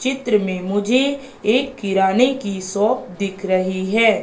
चित्र में मुझे एक किराने की शॉप दिख रही है।